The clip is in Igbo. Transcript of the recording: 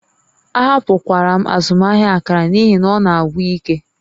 Ahapụkwara m azụmaahịa akara n'ihi na ọ na-agwụ ike